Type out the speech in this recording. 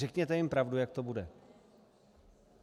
Řekněte jim pravdu, jak to bude.